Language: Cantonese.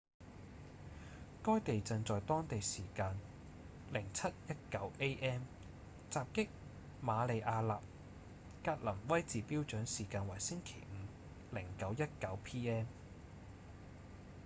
該地震在當地時間 07:19 a.m. 襲擊馬里亞納格林威治標準時間為星期五 09:19 p.m.